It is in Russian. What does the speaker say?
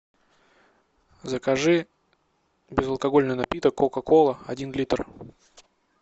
закажи безалкогольный напиток кока кола один литр